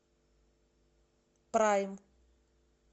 прайм